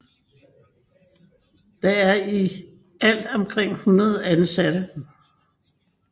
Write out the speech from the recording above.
Der er i alt omkring 100 ansatte